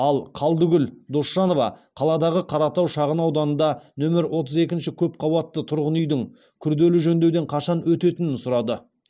ал қалдыкүл досжанова қаладағы қаратау шағын ауданында нөмір отыз екінші көпқабатты тұрғын үйдің күрделі жөндеуден қашан өтетінін сұрады